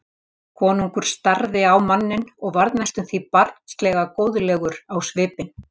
Konungur starði á manninn og varð næstum því barnslega góðlegur á svipinn.